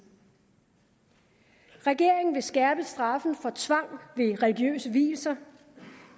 regeringen vil skærpe straffen for tvang ved religiøse vielser